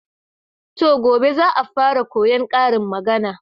To, gobe za'a fara koyan karin magana.